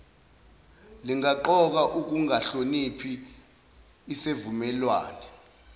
lingaqoka ukungahloniphi isesivumelwane